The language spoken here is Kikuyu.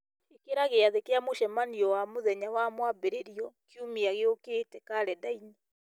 ĩkĩra gĩathĩ kĩa mũcemanio wa mũthenya wa mwambĩrĩrio kiumia gĩũkĩta karenda-inĩ